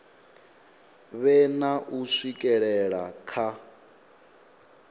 vhe na u swikelela kha